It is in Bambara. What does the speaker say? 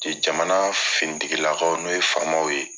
Cɛ Jamana finitigi lakaw n'o ye faamaw ye